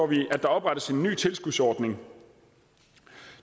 vi at der oprettes en ny tilskudsordning